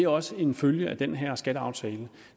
også en følge af den her skatteaftale at